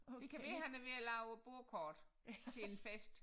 Det kan være han er ved at lave bordkort til en fest